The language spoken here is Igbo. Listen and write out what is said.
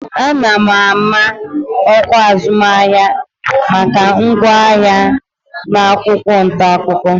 Ana m ama ọkwa azụmahịa maka ngwaahịa m n'akwụkwọ ntaakụkọ